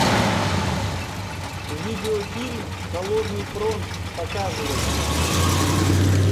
видеофильм холодный фронт показывай